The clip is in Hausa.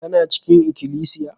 Kana cikin ikilisiya?